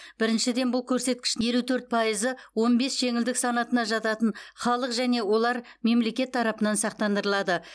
біріншіден бұл көрсеткіштің елу төрт пайызы он бес жеңілдік санатына жататын халық және олар мемлекет тарапынан сақтандырылады